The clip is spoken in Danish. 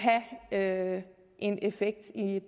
have en effekt i